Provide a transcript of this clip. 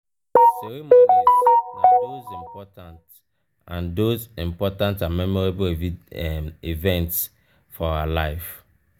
ceremonies na those important and those important and memorable events for our life